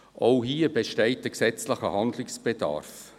Auch hier besteht gesetzgeberischer Handlungsbedarf.